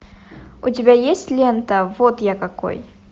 у тебя есть лента вот я какой